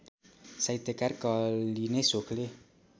साहित्यकार कहलिने सोखले